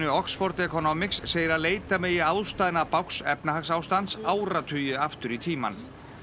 Oxford Economics segir að leita megi ástæðna bágs efnahagsástands áratugi aftur í tímann